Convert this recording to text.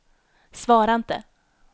svara inte